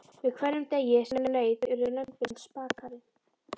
Með hverjum degi sem leið urðu lömbin spakari.